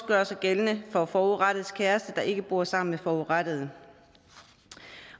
gøre sig gældende for forurettedes kæreste der ikke bor sammen med forurettede